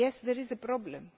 Yes, there is a problem.